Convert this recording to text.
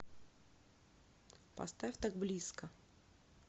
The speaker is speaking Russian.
поставь так близко